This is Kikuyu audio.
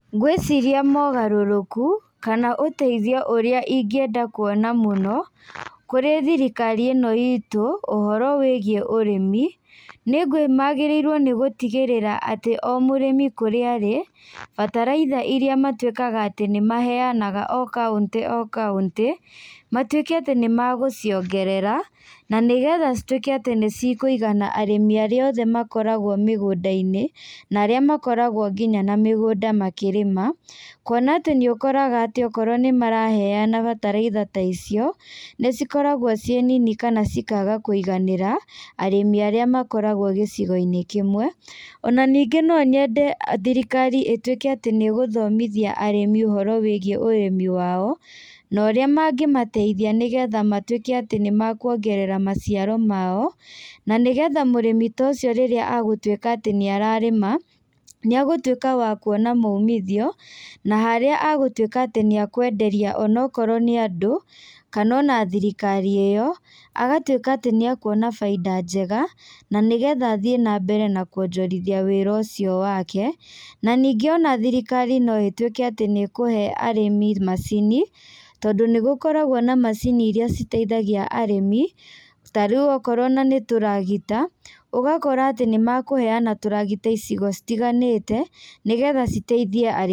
Ngwĩciria mogarũtũku, kana ũteithio ũrĩa ingĩenda kuona mũno, kũrĩ thirikari ĩno itũ, ũhoro wĩgiĩ ũrĩmi, nĩ gwĩ magĩrĩirwo nĩ gũtigĩrĩra o mũrĩmi kũrĩa arĩ, bataraitha iria matuĩkaga atĩ nĩmaheanaga o kauntĩ o kaũntĩ, matuĩke atĩ nĩmagũciongerera, na nĩgetha cituĩke atĩ nĩcikũigana arimĩ arĩa othe makoragwo mĩgũndainĩ, na arĩa makoragwo nginya na mĩgũnda makĩrĩma, kuona atĩ nĩũkoraga atĩ okorwo nĩmaraheana bataraitha ta icio, nĩcikoragwo ciĩ nini kana cikaga kũiganĩra arĩmi arĩa makoragwo gĩcigoinĩ kĩmwe, ona ningĩ no nyende thirikari ituĩke atĩ nĩgũthomithia arĩmi ũhoro wĩgiĩ ũrĩmi wao, na ũrĩa mangĩmateithia nĩgetha matuĩke atĩ nĩmakuongerera maciaro mao, na nĩgetha mũrĩmi ta ũcio rĩrĩa agũtuĩka nĩ ararĩma, nĩagũtuĩka wa kuona maumithio, na harĩa agũtuĩka atĩ nĩakwenderia onokorwo nĩ andũ, kana ona thirikari ĩyo, agatuĩka atĩ nĩakuona bainda njega, na nĩgetha athiĩ nambere na kuonjorithia wĩra ũcio wake, na ningĩ ona thirikari no ĩtuĩke atĩ nĩkũhe arĩmi macini, tondũ nĩgũkoragwo na macini iria citeithagia arĩmi, tarĩu okorwo ona nĩ tũragita, ũgakora atĩ nĩmakũheana tũragita icigo citiganĩte, nĩgetha citeithie arĩmi.